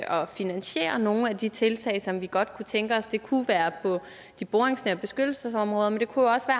finansiere nogle af de tiltag som vi godt kunne tænke os det kunne være på de boringsnære beskyttelsesområder men det kunne også